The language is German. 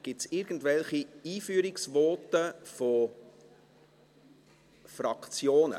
Gibt es irgendwelche Einführungsvoten von Fraktionen?